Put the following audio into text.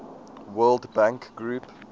world bank group